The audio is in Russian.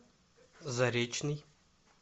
заречный